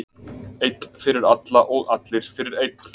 Einn fyrir alla og allir fyrir einn.